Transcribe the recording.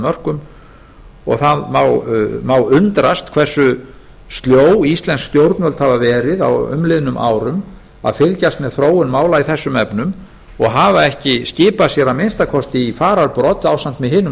mörkum og það má undrast hversu sljó íslensk stjórnvöld hafa verið á umliðnum árum að fylgjast með þróun mála í þessum efnum og hafa ekki skipað sér að minnsta kosti í fararbrodd ásamt með hinum